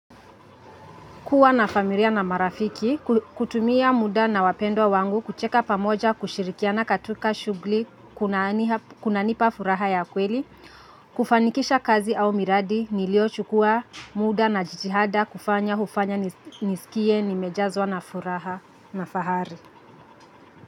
Kuwa na familia na marafiki, kutumia muda na wapendwa wangu, kucheka pamoja, kushirikia na katuka shugli kuna kunanipa furaha ya kweli, kufanikisha kazi au miradi, niliochukua muda na jitihada, kufanya, hufanya, nisikie, nimejazwa na furaha na fahari.